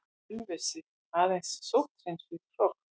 Ölfusi, aðeins sótthreinsuð hrogn.